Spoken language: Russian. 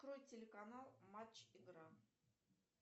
открой телеканал матч игра